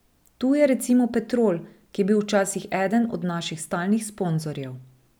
Tu je recimo Petrol, ki je bil včasih eden od naših stalnih sponzorjev.